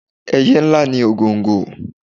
Ẹyẹ ńlá ni ògòǹgò.